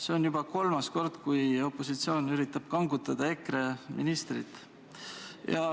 See on juba kolmas kord, kui opositsioon üritab kangutada EKRE ministrit.